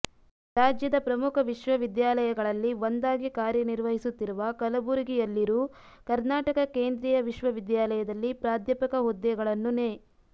ರಾಜ್ಯದ ಪ್ರಮುಖ ವಿಶ್ವವಿದ್ಯಾಲಯಗಳಲ್ಲಿ ಒಂದಾಗಿ ಕಾರ್ಯನಿರ್ವಹಿಸುತ್ತಿರುವ ಕಲಬುರಗಿಯಲ್ಲಿರು ಕರ್ನಾಟಕ ಕೇಂದ್ರಿಯ ವಿಶ್ವವಿದ್ಯಾಲಯದಲ್ಲಿ ಪ್ರಾಧ್ಯಾಪಕ ಹುದ್ದೆಗಳನ್ನು ನೇ